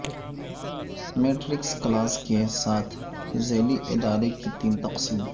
matrix clause کے ساتھ ذیلی ادارے کے تین قسم